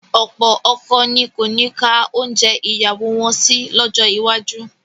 Ọ̀pọ̀ ọkọ ni kò ní ka oúnjẹ ìyàwó wọn sí lọ́jọ́ iwájú